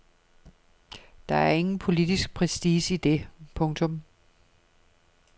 Der er ingen politisk prestige i det. punktum